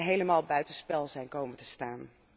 helemaal buiten spel zijn komen te staan.